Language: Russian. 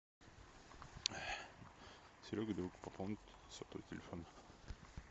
серега друг пополнить сотовый телефон